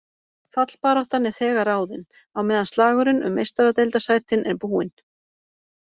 Fallbaráttan er þegar ráðin, á meðan slagurinn um Meistaradeildarsætin er búinn.